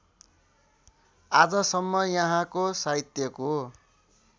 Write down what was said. आजसम्म यहाँको साहित्यको